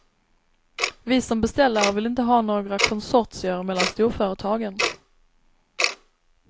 Vi som beställare vill inte ha några konsortier mellan storföretagen.